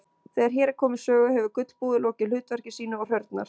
Þegar hér er komið sögu hefur gulbúið lokið hlutverki sínu og hrörnar.